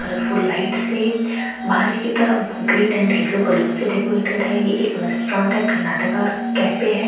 Colourful lights हैं बाहरी की तरफ ग्रीन ऐंड येलो बलून से डेकोरेटेड है ये एक रेस्टोरेंट है कर्नाटका कैफ़े है।